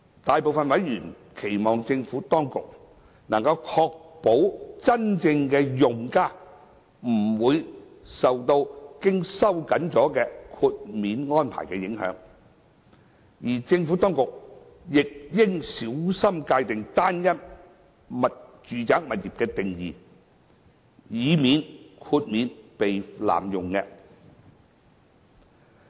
大部分委員期望政府當局能夠確保真正的用家不會受到經收緊的豁免安排影響，而政府當局亦應小心界定"單一"住宅物業的定義，以免豁免被濫用。